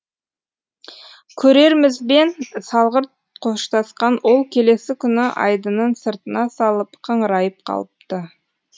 көрермізбен салғырт қоштасқан ол келесі күні айдынын сыртына салып қыңырайып қалыпты